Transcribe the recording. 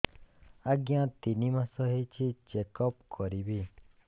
ଆଜ୍ଞା ତିନି ମାସ ହେଇଛି ଚେକ ଅପ କରିବି